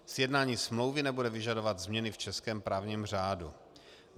Sjednání smlouvy nebude vyžadovat změny v českém právním řádu.